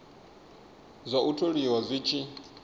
zwa u tholiwa zwi tshi